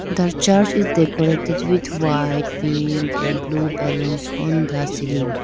The church is decorated with white pink and blue balloons on the ceiling.